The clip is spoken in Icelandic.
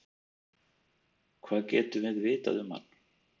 Hvað getum við vitað um hann?